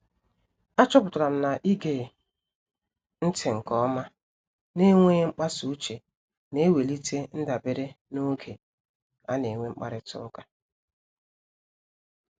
A chọpụtara m na-ige ntị nke ọma na enweghị mkpasa uche na-ewelite ndabere n'oge ana-enwe mkparita ụka